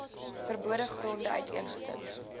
verbode gronde uiteengesit